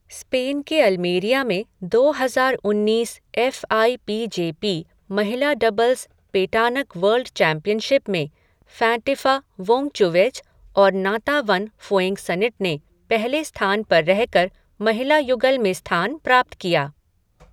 Spain के Almeria में दो हजार उन्नीस F I P J P महिला डबल्स पेटानक वर्ल्ड चैंपियनशिप में फ़ैंटिफा वोंगचुवेज और नांटावन फ़ुएंगसनिट ने पहले स्थान पर रहकर महिला युगल में स्थान प्राप्त किया।